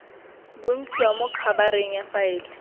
bontshiwa mo khabareng ya faele